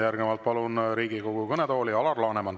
Järgnevalt palun Riigikogu kõnetooli Alar Lanemani.